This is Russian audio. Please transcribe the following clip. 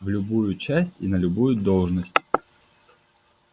в любую часть и на любую должность